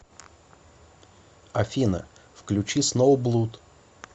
афина включи сноублуд